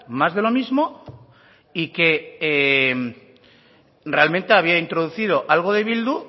más de lo mismo y que realmente había introducido algo de bildu